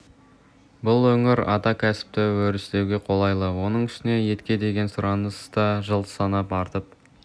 бұл өңір ата кәсіпті өрістетуге қолайлы оның үстіне етке деген сұраныс та жыл санап артып